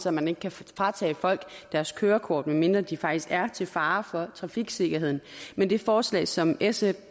at man ikke kan fratage folk deres kørekort medmindre de faktisk er til fare for trafiksikkerheden men det forslag som sf